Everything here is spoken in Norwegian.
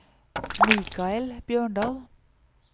Michael Bjørndal